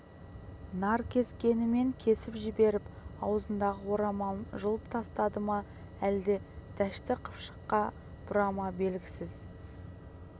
наркескенімен кесіп жіберіп аузындағы орамалын жұлып тастады ма әлде дәшті қыпшаққа бұра ма белгісіз